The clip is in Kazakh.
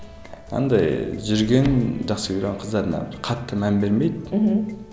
андай жүрген жақсы көрген қыздарына бір қатты мән бермейді мхм